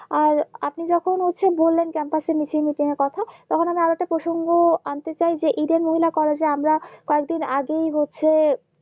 আর আপনি যখন হয়েছে বলেন Campus এর মিছিল মিটিন এর কথা তখন আমি আরেকটা প্রসঙ্গ আন্তে চাই যে Eden মহিলা কলেজে আমরা কয়েক দিন আগেই হচ্ছে